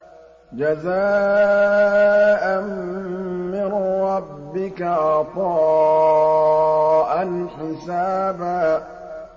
جَزَاءً مِّن رَّبِّكَ عَطَاءً حِسَابًا